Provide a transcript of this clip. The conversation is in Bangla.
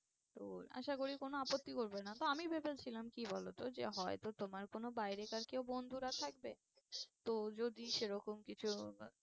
তো আশা করি কোনো আপত্তি করবে না। তো আমি ভেবেছিলাম কি বলো তো যে হয়তো তোমার কোনো বাইরেকার বন্ধুরা থাকবে। তো যদি সে রকম কিছু